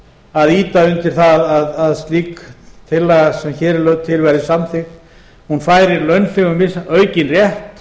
að ýta undir það að slík tillaga sem hér er lögð til verði samþykkt hún færir launþegum aukinn rétt